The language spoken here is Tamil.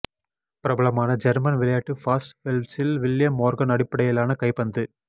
பிரபலமான ஜேர்மன் விளையாட்டு ஃபாஸ்ட் பெல்ப்ஸில் வில்லியம் மோர்கன் அடிப்படையிலான கைப்பந்து